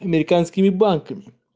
американскими банками